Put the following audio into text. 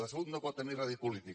la salut no pot tenir rèdit polític